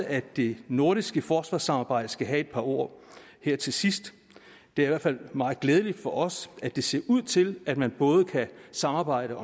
at det nordiske forsvarssamarbejde skal have et par ord her til sidst det er i hvert fald meget glædeligt for os at det ser ud til at man både kan samarbejde